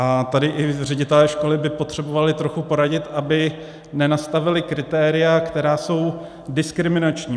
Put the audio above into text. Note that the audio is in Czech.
A tady i ředitelé školy by potřebovali trochu poradit, aby nenastavili kritéria, která jsou diskriminační.